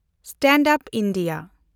stand up India